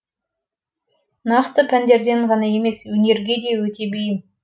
нақты пәндерден ғана емес өнерге де өте бейім